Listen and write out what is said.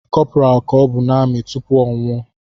Corporal ka ọbụ n’amị tupu ọnwụ o